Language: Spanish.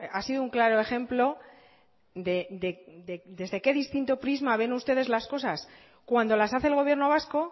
ha sido un claro ejemplo desde qué distinto prisma ven ustedes las cosas cuando las hace el gobierno vasco